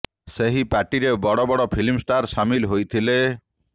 ସେହି ପାର୍ଟିରେ ବଡ଼ ବଡ଼ ଫିଲ୍ମ ଷ୍ଠାର ସାମିଲ ହୋଇଥିଲେ